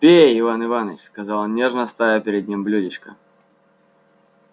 пей иван иваныч сказал он нежно ставя перед ним блюдечко